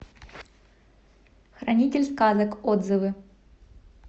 хранитель сказок отзывы